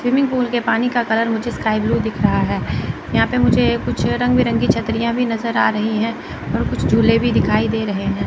Swimming pool के पानी का कलर मुझे स्काई ब्लू दिख रहा है यहां पे मुझे कुछ रंग बिरंगी छतरियां भी नज़र आ रही हैं और कुछ झूले भी दिखाई दे रहे हैं।